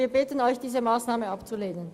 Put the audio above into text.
Wir bitten Sie, diese Massnahme abzulehnen.